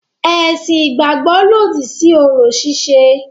Ẹ̀sìn ìgbàgbọ́ lòdì sí orò ṣíṣe.